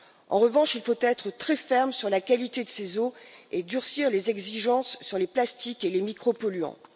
En revanche, il faut être très ferme sur la qualité de ces eaux et durcir les exigences sur les plastiques et les micropolluants.